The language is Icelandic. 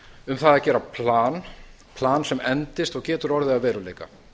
um það að gera plan plan sem endist og getur orðið að veruleika